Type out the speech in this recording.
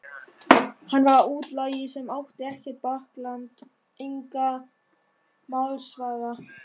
Hann var útlagi sem átti ekkert bakland, engan málsvara.